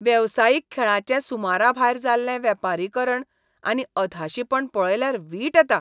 वेवसायीक खेळाचें सुमराभायर जाल्लें वेपारीकरण आनी अधाशीपण पळयल्यार वीट येता.